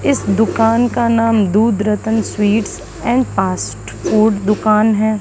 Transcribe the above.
इस दुकान का नाम Doodh Ratan sweets and fast food दुकान है।